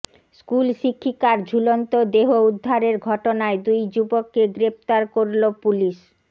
school শিক্ষিকার ঝুলন্ত দেহ উদ্ধারের ঘটনায় দুই যুবককে গ্রেফতার করল পুলিস